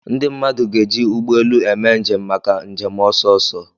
Ndị mmadụ ga-eji ụgbọ elu eme njem maka njem ọsọ ọsọ.